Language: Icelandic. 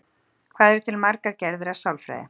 Hvað eru til margar gerðir af sálfræði?